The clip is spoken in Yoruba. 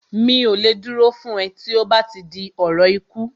Mi ò lè dúró fún ẹ tí ó bá ti di ọ̀rọ̀ ikú